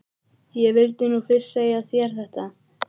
Ég vildi nú fyrst segja þér þetta.